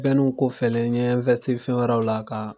kɔfɛlen n ɲe fɛn wɛrɛw la ka